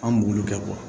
An b'olu kɛ